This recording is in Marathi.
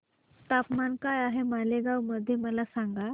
तापमान काय आहे मालेगाव मध्ये मला सांगा